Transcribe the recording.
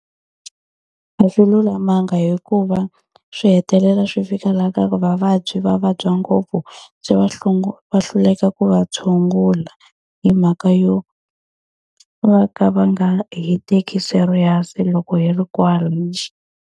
A swi lulamanga hikuva swi hetelela swi fika laha ka ku vavabyi va vabya ngopfu, se va va hluleka ku va tshungula hi mhaka yo va ka va nga hi teki serious loko hi ri kwala .